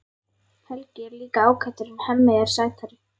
Helgi er líka ágætur en Hemmi er sætari.